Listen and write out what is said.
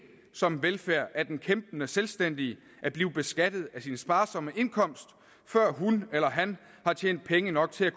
som velfærd af en kæmpende selvstændig at blive beskattet af sin sparsomme indkomst før hun eller han har tjent penge nok til at